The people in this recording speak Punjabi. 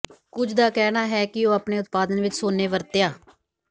ਕੁਝ ਦਾ ਕਹਿਣਾ ਹੈ ਕਿ ਉਹ ਆਪਣੇ ਉਤਪਾਦਨ ਵਿੱਚ ਸੋਨੇ ਵਰਤਿਆ